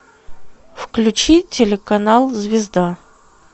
включи телеканал звезда